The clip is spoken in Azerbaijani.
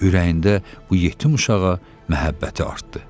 Ürəyində bu yetim uşağa məhəbbəti artdı.